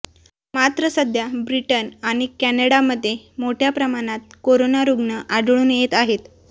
मात्र सध्या ब्रिटन आणि कॅनडामध्ये मोठ्या प्रमाणात कोरोना रुग्ण आढळून येत आहेत